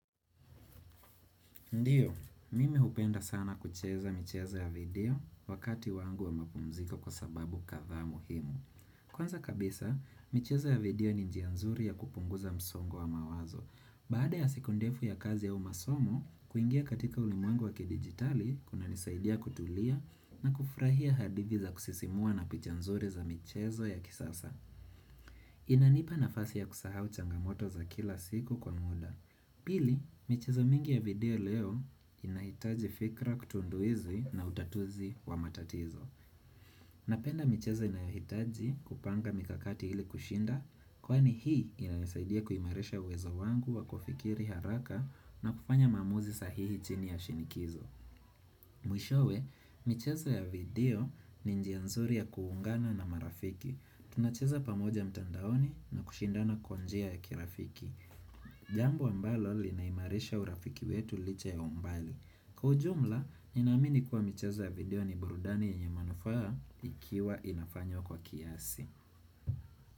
Ndiyo, mimi hupenda sana kucheza michezo ya video wakati wangu wa mapumziko kwa sababu kadha muhimu. Kwanza kabisa, michezo ya video ni njia nzuri ya kupunguza msongo wa mawazo. Baada ya siku ndefu ya kazi au masomo, kuingia katika ulimwengu wa kidigitali, kunanisaidia kutulia na kufurahia hadithi za kusisimua na picha nzuri za michezo ya kisasa. Inanipa nafasi ya kusahau changamoto za kila siku kwa muda. Pili, michezo mingi ya video leo inahitaji fikra kutunduizi na utatuzi wa matatizo. Napenda michezo inayohitaji kupanga mikakati ili kushinda, kwani hii inanisaidia kuimarisha uwezo wangu wa kufikiri haraka na kufanya maamuzi sahihi chini ya shinikizo. Mwishowe, michezo ya video ni njia nzuri ya kuungana na marafiki. Tunacheza pamoja mtandaoni na kushindana kwa njia ya kirafiki. Jambo ambalo linaimarisha urafiki wetu licha ya umbali Kwa ujumla, ninaamini kuwa michezo ya video ni burudani yenye manufaa Ikiwa inafanywa kwa kiasi.